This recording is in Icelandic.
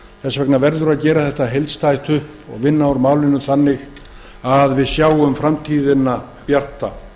þess vegna verður að gera málið upp heildstætt og vinna úr því þannig að við sjáum framtíðina bjarta